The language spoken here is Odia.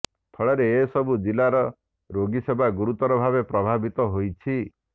ଫଳରେ ଏହିସବୁ ଜିଲ୍ଲାରେ ରୋଗୀସେବା ଗୁରୁତର ଭାବେ ପ୍ରଭାବିତ ହୋଇଛି